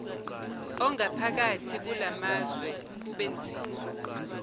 ongaphakathi kulamazwe kubenzima